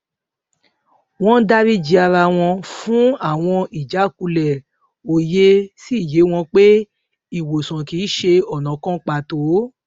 wón dárí ji ara wọn fún àwọn ìjákulè òye sì yé wọn pé ìwòsàn kì í ṣe ònà kan pàtó